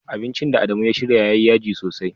Abincin da Adamu ya shirya yayi yaji sosai.